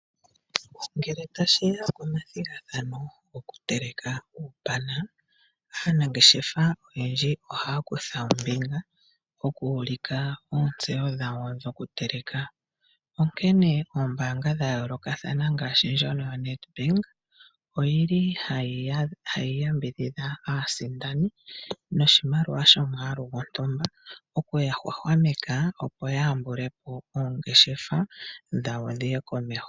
Ngele tashi ya komathigathano gokuteleka uupana, aanangeshefa oyendji ohaya kutha ombinga okuulika oontseyo dhawo dhokuteleka. Onkene oombaanga dha yoolokathana ngaashi ndjono yaNedbank oyi li hayi yambidhidha aasindani noshimaliwa shomwaalu gontumba, okuya hwahwameka, opo ya yambule po oongeshefa dhawo dhi ye komeho.